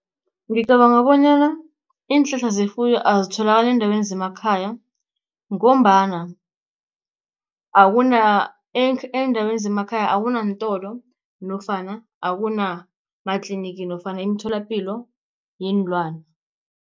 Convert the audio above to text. Ngicabanga bonyana iinhlahla zefuyo azitholakali eendaweni zemakhaya, ngombana akuna eendaweni zemakhaya akunaantolo nofana akunamatlinigi nofana imitholapilo yeenlwani.